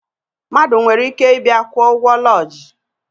Mmadụ nwere ike ịbịa kwụọ ụgwọ lọjii